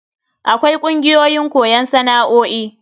Akwai kungiyoyin koyon sana'o'i.